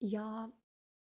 я